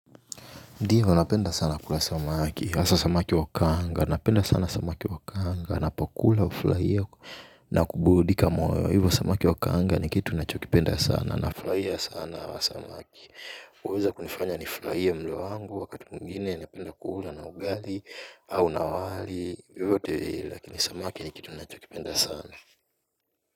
Ndiyo napenda sana kula samaki, hasa samaki wa kanga, napenda sana samaki wa kanga, ninapokula hufurahia na kuburudika moyo, hivyo samaki wa kaanga ni kitu ninachokipenda sana, nafurahia sana hawa samaki huweza kunifanya nifurahie mlo wangu wakati mwingine, napenda kula na ugali, au na wali, vyovyote vile, lakini samaki ni kitu ninachokipenda sana.